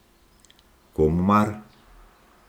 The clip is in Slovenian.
Komu mar?